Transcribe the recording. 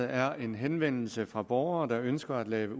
er en henvendelse fra nogle borgere der ønsker at lave